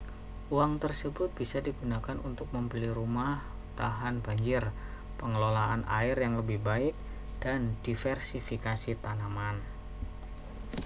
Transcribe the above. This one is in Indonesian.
uang tersebut bisa digunakan untuk membeli rumah tahan banjir pengelolaan air yang lebih baik dan diversifikasi tanaman